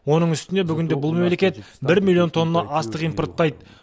оның үстіне бүгінде бұл мемлекет бір миллион тонна астық импорттайды